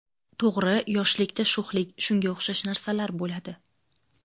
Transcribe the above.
To‘g‘ri, yoshlikda sho‘xlik, shunga o‘xshash narsalar bo‘ladi.